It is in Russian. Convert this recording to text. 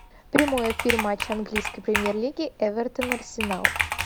прямой эфир матча английской премьер лиги эвертон арсенал